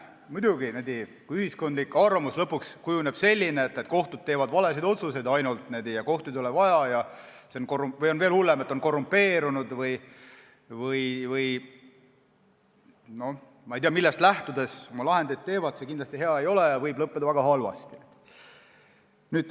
Muidugi, kui ühiskondlik arvamus kujuneb lõpuks selliseks, et kohtud teevad ainult valesid otsuseid ja kohtuid ei ole vaja, või veel hullem, et need on korrumpeerunud või nad ei tea millest lähtudes oma lahendeid teevad, siis see kindlasti hea ei ole ja võib lõppeda väga halvasti.